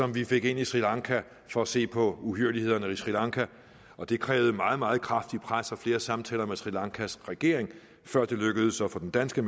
vi fik ind i sri lanka for at se på uhyrlighederne i sri lanka og det krævede meget meget kraftigt pres og flere samtaler med sri lankas regering før det lykkedes at få den danske